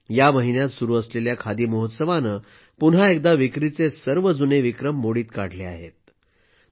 या महिन्यात सुरू असलेल्या खादी महोत्सवानं पुन्हा एकदा विक्रीचे सर्व जुने विक्रम मोडीत काढले आहेत